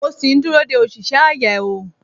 mo sì ń dúró de òṣìṣẹ́ ayáeó